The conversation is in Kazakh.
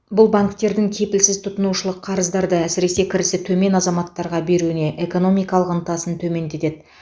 бұл банктердің кепілсіз тұтынушылық қарыздарды әсіресе кірісі төмен азаматтарға беруіне экономикалық ынтасын төмендетеді